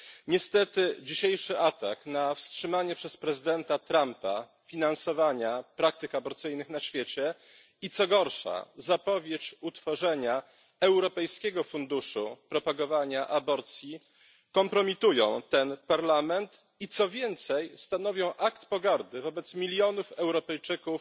Niestety dzisiejszy atak na wstrzymanie przez prezydenta Trumpa finansowania praktyk aborcyjnych na świecie, i co gorsza, zapowiedź utworzenia europejskiego funduszu propagowania aborcji kompromitują ten Parlament i, co więcej, stanowią akt pogardy wobec milionów Europejczyków